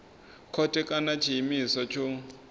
khothe kana nga tshiimiswa tsho